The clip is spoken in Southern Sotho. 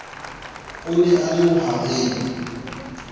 o ne a le bohareng